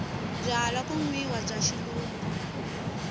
byalwa ku nwiwa bya xilungu